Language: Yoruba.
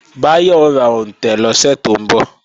Báyọ̀ ó ra òǹtẹ̀ lọ́sẹ̀ tó ń bọ̀